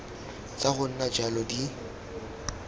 tsa go nna jalo di